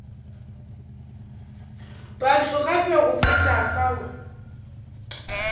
batho gape go feta fao